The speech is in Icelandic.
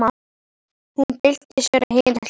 Hún byltir sér á hina hliðina.